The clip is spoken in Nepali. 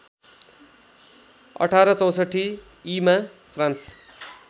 १८६४ ईमा फ्रान्स